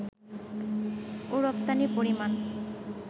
ও রপ্তানির পরিমাণ